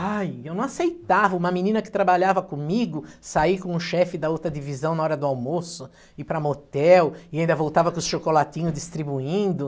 Ai, eu não aceitava uma menina que trabalhava comigo sair com o chefe da outra divisão na hora do almoço, ir para motel e ainda voltava com os chocolatinhos distribuindo.